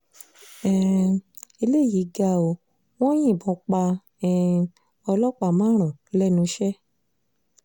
um eléyìí ga ọ́ wọn yìnbọn pa um ọlọ́pàá márùn-ún lẹ́nu iṣẹ́